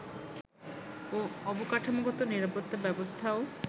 ও অবকাঠামোগত নিরাপত্তা ব্যবস্থাও